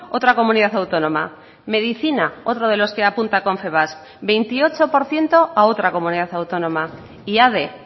otra comunidad autónoma medicina otro de los que apunta confebask veintiocho por ciento a otra comunidad autónoma y ade